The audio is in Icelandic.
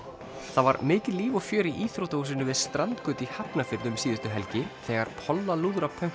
það var mikið líf og fjör í íþróttahúsinu við strandgötu í Hafnarfirði um síðustu helgi þegar